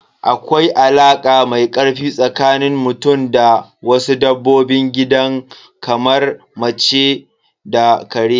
Akwai alaka mai ƙarfi tsakanin mutum da wasu dabbobin gidan kamar mace da ƙare.